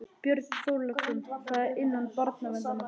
Björn Þorláksson: Þá innan barnaverndarnefnda?